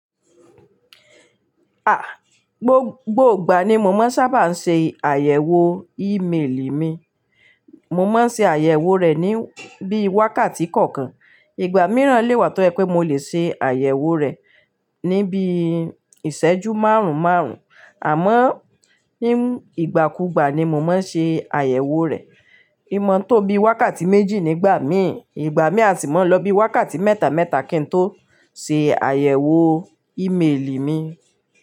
A! Gbogbo ìgbà ni mo máa ń sábà ń ṣe àyẹ̀wò ímeèlì mi. Mo máa ń ṣe àyẹ̀wò rẹ̀ ní bí i wákàtí kọ̀ọ̀kan. Ìgbà mìíràn lè wà tó ẹ pé mo lè ṣe àyẹ̀wò rẹ̀ níbi ìṣẹ́jú márùn-ún márùn-ún. Àmọ́ ní ìgbàkugbà ni mo máa ń ṣe àyẹ̀wò rẹ̀. Ìmọ̀ tó bí i wákàtí méjì nígbà mí, ìgbà mí a sì máa ń lọ bí i wákàtí mẹ́ta mẹ́ta kí n tó ṣe àyẹ̀wò ímeèlì mi.